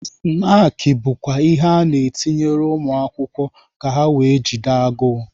Snaakị bụkwa ihe a na-etinyere ụmụ akwụkwọ ka ha were jide agụụ.